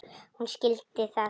Hún skildi það.